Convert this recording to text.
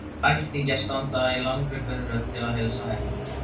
Ættingjarnir standa í langri biðröð til að heilsa henni.